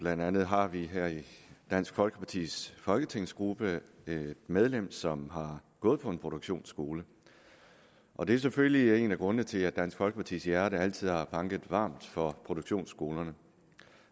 blandt andet har vi her i dansk folkepartis folketingsgruppe et medlem som har gået på en produktionsskole og det er selvfølgelig en af grundene til at dansk folkepartis hjerte altid har banket varmt for produktionsskolerne